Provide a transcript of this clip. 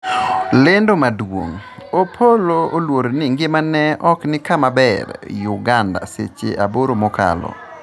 lendo maduong' Opolo oluor ni ngimane ok ni kama ber Uganda seche aboro mokalo